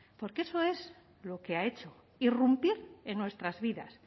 porque eso es lo que ha hecho irrumpir en nuestras vidas